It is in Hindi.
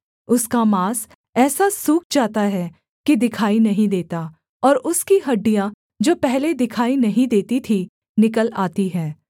उसका माँस ऐसा सूख जाता है कि दिखाई नहीं देता और उसकी हड्डियाँ जो पहले दिखाई नहीं देती थीं निकल आती हैं